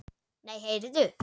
Nei, heyrðu!